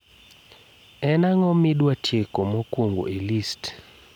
en ang`o midwa tieko mokwongo e list